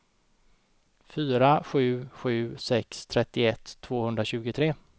fyra sju sju sex trettioett tvåhundratjugotre